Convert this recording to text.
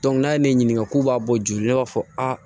n'a ye ne ɲininka k'u b'a bɔ joli b'a fɔ aa